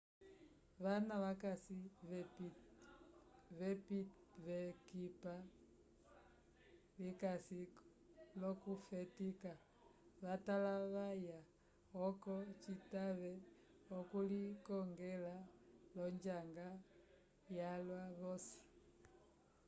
vana vakasi v'ekipa likasi l'okufetika vatalavaya oco citave okulikongela l'onjanga yalwa vosi